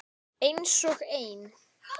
Einsog ein.